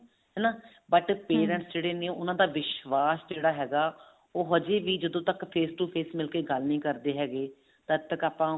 ਹਨਾ but parents ਉਹਨਾ ਦਾ ਵਿਸ਼ਵਾਸ ਜਿਹੜਾ ਹੈਗਾ ਉਹ ਹਜੇ ਵੀ ਜਦੋਂ ਤੱਕ face to face ਮਿਲ ਕੇ ਗੱਲ ਨੀ ਕਰਦੇ ਹੈਗੇ ਤਦ ਤੱਕ ਆਪਾਂ